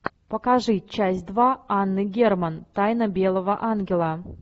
покажи часть два анны герман тайна белого ангела